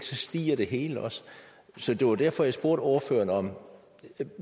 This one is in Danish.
så stiger det hele også derfor spurgte jeg ordføreren om